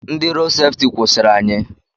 Ndị rood sefti kwụsịrị anyị.